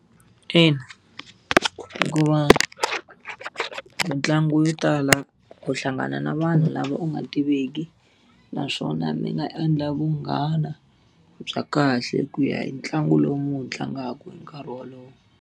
Ina hikuva ku mitlangu yo tala u hlangana na vanhu lava u nga tiveki naswona mi nga endla vunghana bya kahle ku ya hi ntlangu lowu mi wu tlangaka hi nkarhi wolowo.